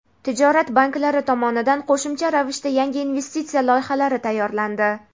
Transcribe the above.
tijorat banklari tomonidan qo‘shimcha ravishda yangi investitsiya loyihalari tayyorlandi.